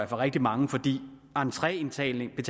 for rigtig mange fordi entrebetaling